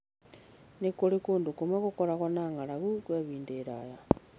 Nĩ kũrĩ kũndũ kũmwe gũkoragwo na ng'aragu kwa ihinda iraya.